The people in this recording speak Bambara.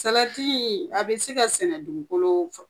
Salati a bi se ka sɛnɛ dugukolo fan